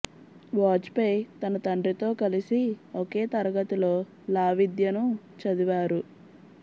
was పేయి తన తండ్రితో కలిసి ఒకే తరగతిలో లా విద్యను చదివారు